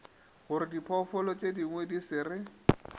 gorediphoofolo tšedingwe di se re